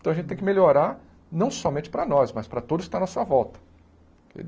Então a gente tem que melhorar não somente para nós, mas para todos que estão à nossa volta.